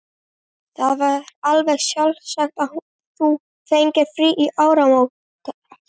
Það var alveg sjálfsagt að þú fengir frí til áramóta.